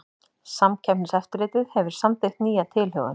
Samkeppniseftirlitið hefur samþykkt nýja tilhögun